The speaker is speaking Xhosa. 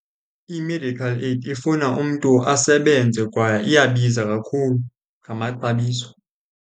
I-medical aid ifuna umntu asebenze kwaye iyabiza kakhulu ngamaxabiso.